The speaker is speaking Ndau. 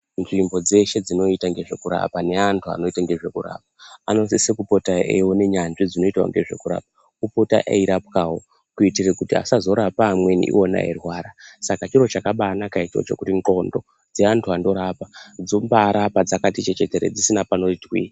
Nzvimbo dzeshe dzinoita ngezvekurapa neantu anoita nezvekurapa anosise kupota eione nyanzvi dzinoitawo ngezvekurapa epota eirapwawo kuitire kuti azorape amweni iwona eirwara saka chiro chakabaanaka ichocho kuti nxlondo dzeantu anorapa dzobaarapa dzkati chechetere dzisina panoti twi.